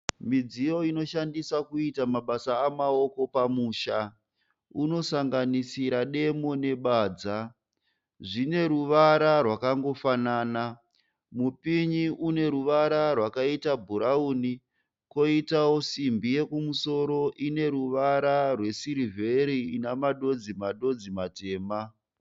Midziyo inoshandiswa kuita mabasa amaoko pamba. Unosanganisira demo nebadza. Zvine ruvara rwakangofanana. Mupinyi une ruvara rwebhurauni koitawo simbi yekumusoro ine ruvara rwesirivheri ina madodzi madodzi matema.